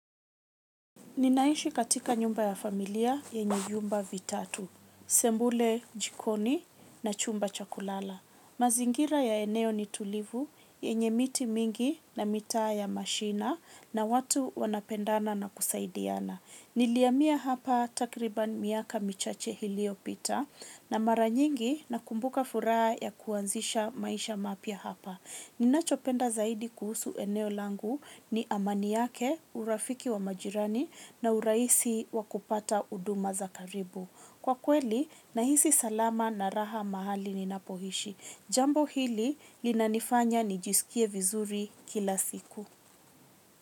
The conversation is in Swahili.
Ninaishi katika nyumba ya familia yenye vyumba vitatu, sebule jikoni na chumba cha kulala. Mazingira ya eneo ni tulivu, yenye miti mingi na mitaa ya mashina na watu wanapendana na kusaidiana. Nilihamia hapa takriban miaka michache ilio pita na mara nyingi nakumbuka furaha ya kuanzisha maisha mapya hapa. Ninachopenda zaidi kuhusu eneo langu ni amani yake, urafiki wa majirani na urahisi wa kupata huduma za karibu. Kwa kweli, nahisi salama na raha mahali ninapoishi. Nilihamia hapa takriban miaka michache ilio pita na mara nyingi nakumbuka furaha ya kuanzisha maisha mapya hapa.